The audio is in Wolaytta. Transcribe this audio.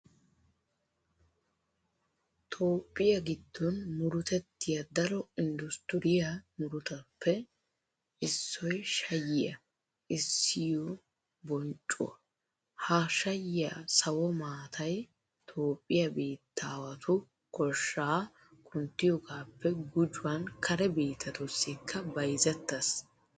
Toophphiya giddon murutettiya daro inddustturiya murutatuppe issoy shayyiya essiyo bonccuwa. Ha shayyiya sawo maatay toophphiya biittaawatu koshshaa kunttiyogaappe gujuwan kare biittatussikka bayzettees.